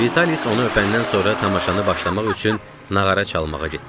Vitalis onu öpəndən sonra tamaşanı başlamaq üçün nağara çalmağa getdi.